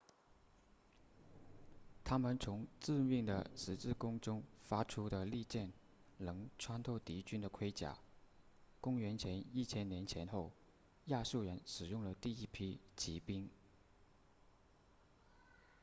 他们从致命的十字弓中射出的利箭能穿透敌军的盔甲公元前1000年前后亚述人使用了第一批骑兵